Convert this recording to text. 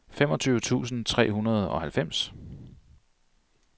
femogtyve tusind tre hundrede og halvfems